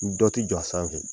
Dɔ ti jɔ a sanfɛ